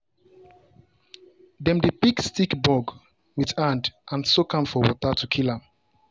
dem dey pick stink bug with hand and soak am for water to kill am.